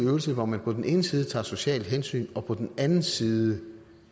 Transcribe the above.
øvelse hvor man på den ene side tager et socialt hensyn og på den andet side